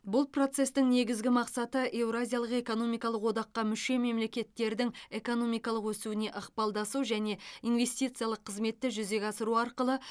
бұл процестің негізгі мақсаты еуразиялық экономикалық одаққа мүше мемлекеттердің экономикалық өсуіне ықпалдасу және инвестициялық қызметті жүзеге асыру арқылы